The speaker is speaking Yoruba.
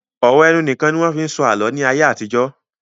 Ọ̀rọ̀ ẹnu nìkan ni wọ́n fi ń sọ àlọ́ ní ayé àtijọ́